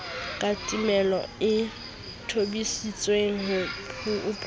katamelo e tobisitsweng ho phofu